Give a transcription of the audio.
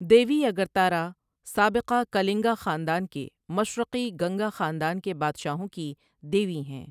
دیوی اگرتارا سابقہ کلنگا خاندان کے مشرقی گنگا خاندان کے بادشاہوں کی دیوی ہیں۔